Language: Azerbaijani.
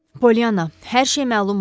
Polyana, hər şey məlum oldu.